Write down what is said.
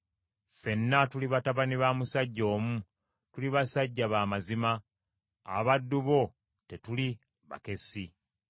Ffenna tuli batabani ba musajja omu, tuli basajja ba mazima. Abaddu bo tetuli bakessi.”